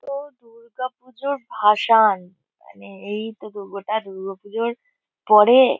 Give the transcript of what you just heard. তো দুর্গাপুজোর ভাসান। মানে এই তো দুর্গটা দুর্গাপুজোর পরে --